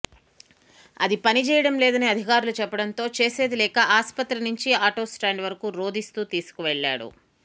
అది పనిచేయడం లేదని అధికారులు చెప్పడంతో చేసేది లేక ఆసుపత్రి నుంచి ఆటో స్టాండ్ వరకు రోదిస్తూ తీసుకెళ్లాడు